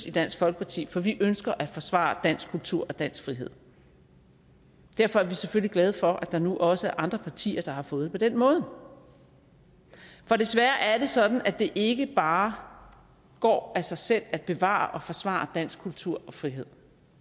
i dansk folkeparti for vi ønsker at forsvare dansk kultur og dansk frihed derfor er vi selvfølgelig glade for at der nu også er andre partier der har fået det på den måde for desværre er det sådan at det ikke bare går af sig selv at bevare og forsvare dansk kultur og frihed